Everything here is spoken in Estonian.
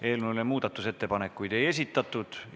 Eelnõu kohta muudatusettepanekuid ei esitatud.